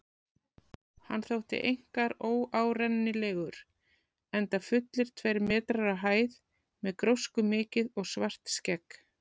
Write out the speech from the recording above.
Hann þótti einkar óárennilegur, enda fullir tveir metrar á hæð með gróskumikið og svart skegg.